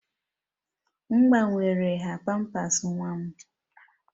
M gbanwere nha pampers nwa m